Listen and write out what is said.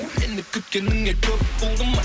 мені күткеніңе көп болды ма